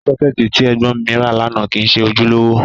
Sọ́kẹ́ẹ̀tì tí ẹ̀gbọ́n mi ra lánàá kìí ṣe ojúlówó.